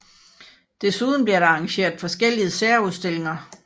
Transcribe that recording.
Desuden bliver der arrangeret forskellige særudstillinger